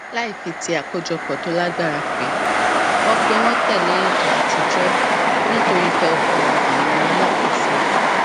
láì fi ti àkójopò tó lágbára pè wọn pè wọn tẹlé ètò àtijọ nítorí ìfẹ ọkàn àwọn alákòóso